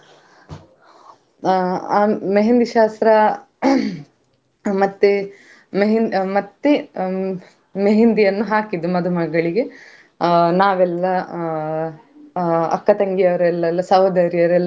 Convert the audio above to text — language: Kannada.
ತುಂಬಾ ರೀತಿಯ ಹಾವುಗಳು ಕೆಲವೋ~ ಕೆಲವೊಂದು ತುಂಬಾ ದೊಡ್ಡ ದೊಡ್ಡ ಹಾವುಗಳು ಇದ್ವು ಅದನ್ನು ನೋಡುವಾಗ ನಮಗೆ ಭಯ ಆಗತಿತ್ತು. ತುಂಬಾ ಆ ತುಂಬ ಬೇರೆ ಬೇರೆ ರೀತಿಯ ಬೇರೆ ಬೇರೆ ಆ ದೇಶದ ಹಾವುಗಳು ಇದ್ವು. ಆ ಅದರ ಹೆಸರೇ ಎಲ್ಲ ನನ್ಗೆ ನೆನಪಾಗುದಿಲ್ಲ ಯಾಕಂದ್ರೆ ಅಷ್ಟು.